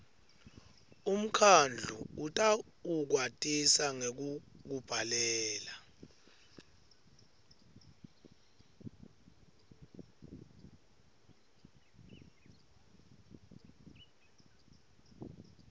umkhandlu utawukwatisa ngekukubhalela